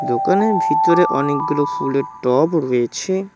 দোকানের ভিতরে অনেকগুলো ফুলের টব রয়েছে।